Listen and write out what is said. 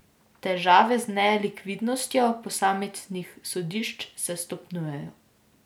Težave z nelikvidnostjo posameznih sodišč se stopnjujejo.